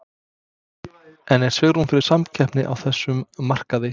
En er svigrúm fyrir samkeppni á þessum markaði?